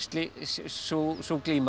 sú glíma